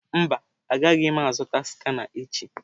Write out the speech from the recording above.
Mba, agaghị m azụta skana echi.